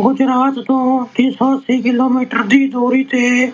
ਗੁਜਰਾਤ ਤੋਂ ਤਿੰਨ ਸੌ ਅੱਸੀ ਕਿਲੋਮੀਟਰ ਦੀ ਦੂਰੀ ਤੇ